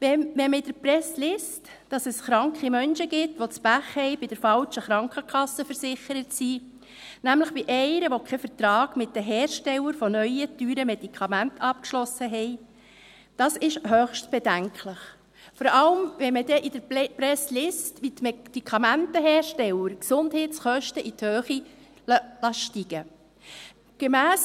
Wenn man in der Presse liest, dass es kranken Menschen gibt, die das Pech haben bei der falschen Krankenkasse versichert zu sein, nämlich bei einer, welche keinen Vertrag mit den Herstellern von neuen, teuren Medikamenten abgeschlossen hat, ist dies höchst bedenklich, vor allem, wenn man in der Presse liest, wie die Medikamentenhersteller die Gesundheitskosten in die Höhe steigen lassen.